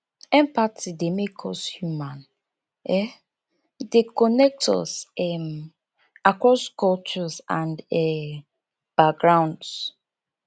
empathy dey make us human um e dey connect us um across cultures and um backgrounds